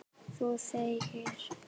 Þú þegir.